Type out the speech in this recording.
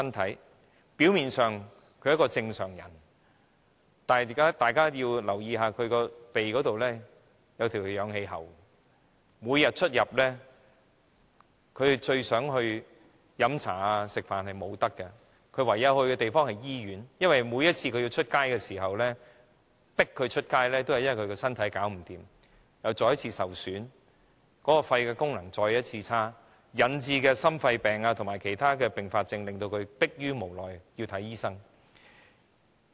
他們表面上是正常人，但大家要留意，他們的鼻上均貼着氧氣喉，他們每天最希望出入的地方，包括到酒樓和餐廳用膳，他們也不能去，而他們只能夠去醫院，而這亦是因他們身體敗壞，又再一次受損，其肺功能再一次下降，引致心肺病和其他併發症，令他們逼於無奈要外出就醫。